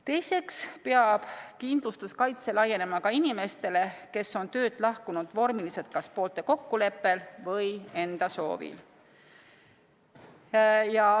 Teiseks peab kindlustuskaitse laienema ka inimestele, kes on töölt lahkunud vormiliselt kas poolte kokkuleppel või enda soovil.